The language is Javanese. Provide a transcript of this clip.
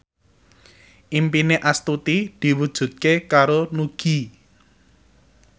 impine Astuti diwujudke karo Nugie